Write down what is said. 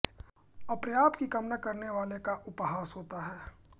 अप्राप्य की कामना करने वाले का उपहास होता है